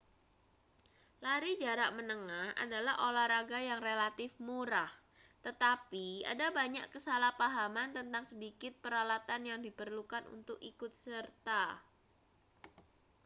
lari jarak menengah adalah olahraga yang relatif murah tetapi ada banyak kesalahpahaman tentang sedikit peralatan yang diperlukan untuk ikut serta